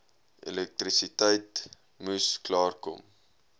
elektrisiteit moes klaarkom